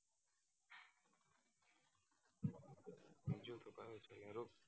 hello